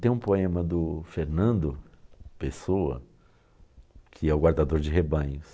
Tem um poema do Fernando, Pessoa, que é o guardador de rebanhos.